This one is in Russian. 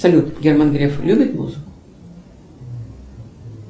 салют герман греф любит музыку